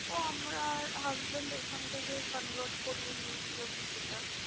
ও আমরা husband এখান থেকে convert করিয়ে নিয়েছিল কিছুটা।